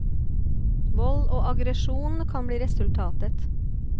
Vold og aggresjon kan bli resultatet.